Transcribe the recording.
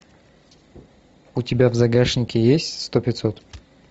у тебя в загашнике есть сто пятьсот